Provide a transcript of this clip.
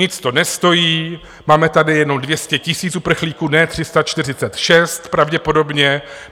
Nic to nestojí, máme tady jenom 200 000 uprchlíků, ne 346, pravděpodobně.